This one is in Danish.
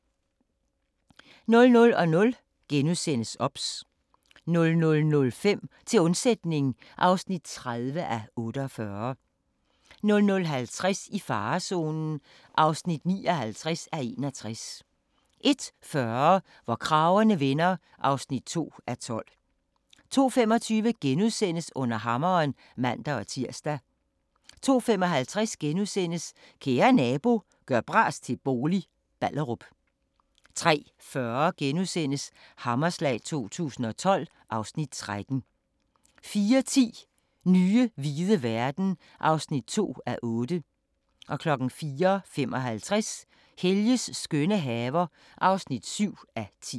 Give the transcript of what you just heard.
00:00: OBS * 00:05: Til undsætning (30:48) 00:50: I farezonen (59:61) 01:40: Hvor kragerne vender (2:12) 02:25: Under hammeren *(man-tir) 02:55: Kære nabo – gør bras til bolig – Ballerup * 03:40: Hammerslag 2012 (Afs. 13)* 04:10: Nye hvide verden (2:8) 04:55: Helges skønne haver (7:10)